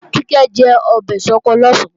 Kíkẹ́ jẹ ọbẹ̀ ṣọkọ lọ̀sán